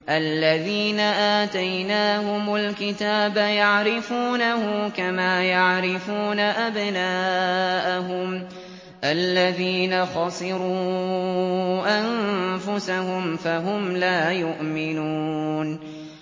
الَّذِينَ آتَيْنَاهُمُ الْكِتَابَ يَعْرِفُونَهُ كَمَا يَعْرِفُونَ أَبْنَاءَهُمُ ۘ الَّذِينَ خَسِرُوا أَنفُسَهُمْ فَهُمْ لَا يُؤْمِنُونَ